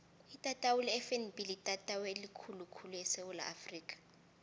itatawu lefnb litatawu elikhulu khulu esewula afrika